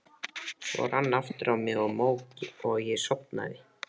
Svo rann aftur á mig mók og ég sofnaði.